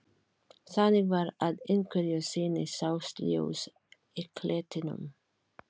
Þannig var að einhverju sinni sást ljós í klettinum.